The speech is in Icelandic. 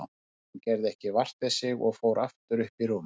Hún gerði ekki vart við sig og fór aftur upp í rúm.